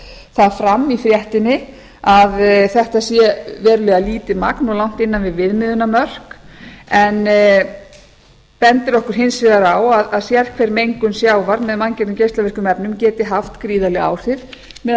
það fram í fréttinni að þetta sé verulega lítið magn og langt innan við viðmiðunarmörk en bendir okkur hins vegar á að sérhver mengun sjávar með geislavirkum efnum geti haft gríðarleg áhrif meðal